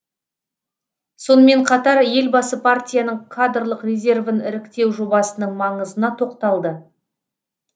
сонымен қатар елбасы партияның кадрлық резервін іріктеу жобасының маңызына тоқталды